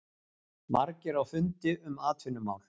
Margir á fundi um atvinnumál